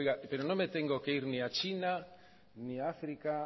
oiga pero no me tengo que ir ni a china ni a áfrica